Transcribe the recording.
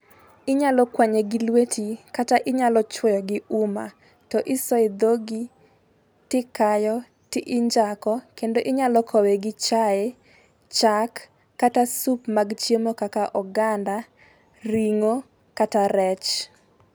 Inyalo kwanye gi lweti kata inyalo chuoyo gi uma to isoyo e dhogi tikayo tinjako kendo inyalo kowe gi chai ,chak kata sup mag chiemo kaka oganda, ring'o kata rech.